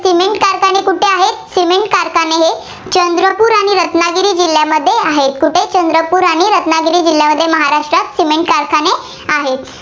जिल्हांमध्ये आहेत. कुठे चंद्रपूर आणि रत्नागिरी जिल्ह्यांमध्ये महाराष्ट्रात cement कारखाने आहेत.